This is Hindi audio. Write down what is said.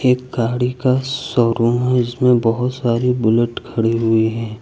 एक गाड़ी का शोरूम है जिसमें बहोत सारी बुलेट खड़ी हुई है।